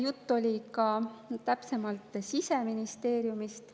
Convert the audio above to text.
Juttu oli ka täpsemalt Siseministeeriumist.